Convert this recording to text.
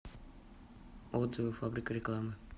отзывы фабрика рекламы